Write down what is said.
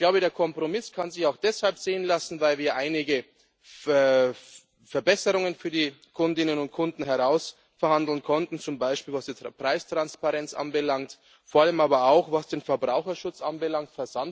Ich glaube, der Kompromiss kann sich auch deshalb sehen lassen, weil wir einige Verbesserungen für die Kundinnen und Kunden heraushandeln konnten, zum Beispiel was die Preistransparenz anbelangt, vor allem aber auch was den Verbraucherschutz anbelangt.